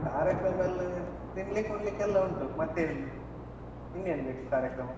ಕಾರ್ಯಕ್ರಮಾಯೆಲ್ಲ ತಿನ್ಲಿಕ್ಕೆ ಉಣ್ಲಿಕ್ಕೆಲ್ಲ ಉಂಟು. ಮತ್ತೇನ್? ಇನ್ನೇನ್ ಬೇಕು ಕಾರ್ಯಕ್ರಮ?